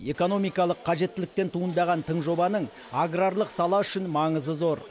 экономикалық қажеттіліктен туындаған тың жобаның аграрлық сала үшін маңызы зор